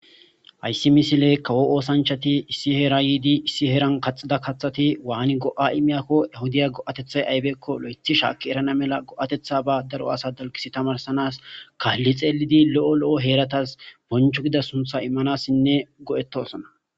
hayssi misile kawo oosanchati issi heera yiidi issi heeran kaxida kathati waani go7a imiyakko ehudaya go7atethay aybeekko lo7ethi shaakki erana mela go7atetha ba daro asa dalkisi tamarsanas kaalli xeelidi lo7o lo7o heeratas bonchu gida suntha immanassinne go7etosona